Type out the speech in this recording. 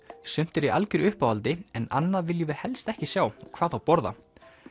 sumt er í algjöru uppáhaldi en annað viljum við helst ekki sjá og hvað þá borða